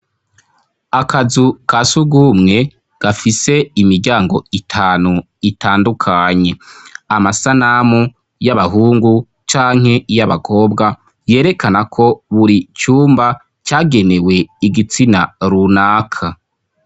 Akazu ka sugumwe gafise imiryango itanu itandukanye, amasanamu y'abahungu canke y'abakobwa yerekana ko buri cumba cagenewe igitsina runaka.